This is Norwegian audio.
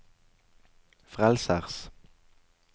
frelsers